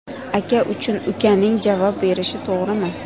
Aka uchun ukaning javob berishi to‘g‘rimi?